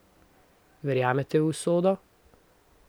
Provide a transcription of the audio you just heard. Verjamete v usodo?